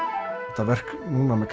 þetta verk núna með